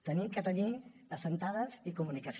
hem de tenir assentades i comunicació